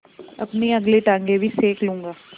अपनी अगली टाँगें भी सेक लूँगा